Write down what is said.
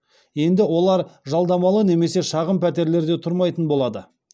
енді олар жалдамалы немесе шағын пәтерлерде тұрмайтын болады